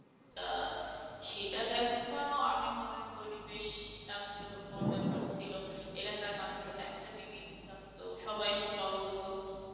তা সেটা দেখাও আমি মনে করি বেশ চাঞ্চল্যকর ব্যাপার ছিল। এলাকায় মাত্র একটা T V থাকতো সবাই এসে জড়ো হত